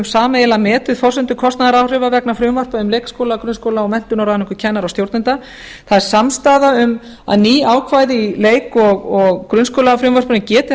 sameiginlega metið forsendur kostnaðaráhrifa vegna frumvarpa um leikskóla grunnskóla og menntunar kennara og stjórnenda það er samstaða um að ný ákvæði í leik og grunnskólafrumvarpinu geti